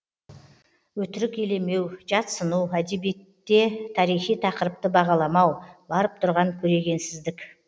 өтірік елемеу жатсыну әдебиетте тарихи тақырыпты бағаламау барып тұрған көрегенсіздік